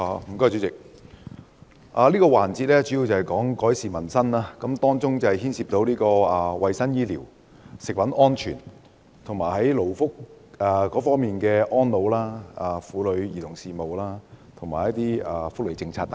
主席，這個辯論環節主要關乎改善民生，當中涉及衞生及醫療服務、食物安全、勞工議題、安老、婦女及兒童事務，以及一些福利事務等。